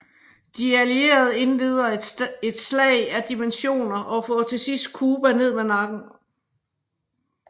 De allierede indleder et slag af dimensioner og får til sidst Cuba ned med nakken